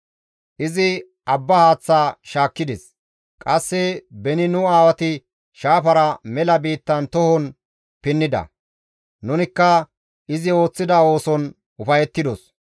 Izi abba haaththa shaakkides; qasse beni nu aawati shaafara mela biittara tohon pinnida; nunikka izi ooththida ooson ufayettidos.